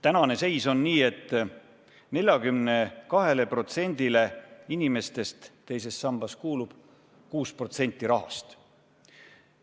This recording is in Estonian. Tänane seis on niisugune, et 42%-le inimestest teises sambas kuulub 6% rahast.